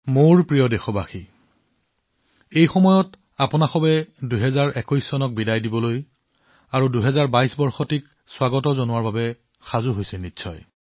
মোৰ মৰমৰ দেশবাসীসকল নমস্কাৰ এই সময়ত আপোনালোকে ২০২১ চনৰ বিদায় আৰু ২০২২ চনৰ অভ্যৰ্থনাৰ বাবে প্ৰস্তুতিত ব্যস্ত